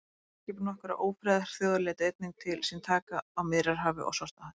herskip nokkurra ófriðarþjóða létu einnig til sín taka á miðjarðarhafi og svartahafi